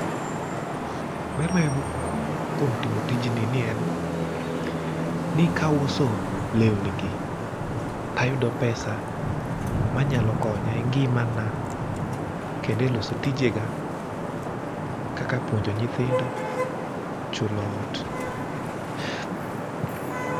ber mayudo kuom timo tijni ni en ni kauso lewni gi tayudo pesa manyalo konya e ngimana kendo e loso tijega kaka puonjo nyithindo, chulo ot